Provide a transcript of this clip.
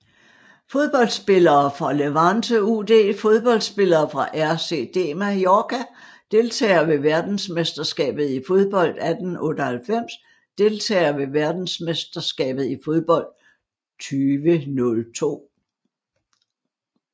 Fodboldspillere fra Levante UD Fodboldspillere fra RCD Mallorca Deltagere ved verdensmesterskabet i fodbold 1998 Deltagere ved verdensmesterskabet i fodbold 2002